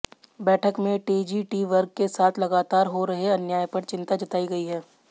बैठक में टीजीटी वर्ग के साथ लगातार हो रहे अन्याय पर चिंता जताई गई है